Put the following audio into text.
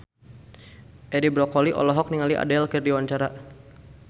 Edi Brokoli olohok ningali Adele keur diwawancara